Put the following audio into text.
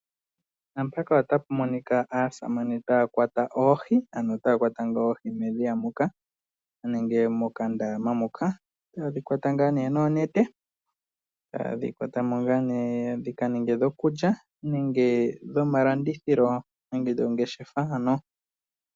Naampaka ota mu monika aasamane taya kwatwa oohi ano taya kwata oohi medhiya muka nenge moka ndama muka .ota ye dhikwata ngaa ne dhikaninge dho kulya nenge dhomalandithilo nenge dhika ninge dhoongeshefa.